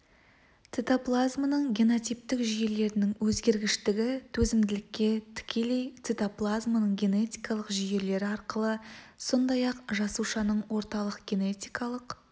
цитоплазманың генотиптік жүйелерінің өзгергіштігі төзімділікке тікелей цитоплазманың генетикалық жүйелері арқылы сондай-ақ жасушаның орталық генетикалық